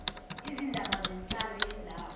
izindaba zenhlalo yendawo